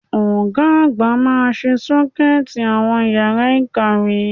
Ọ̀ga àgbà máa ṣe Ṣọ́kẹ́ẹ̀tì àwọn yàrá ìkàwé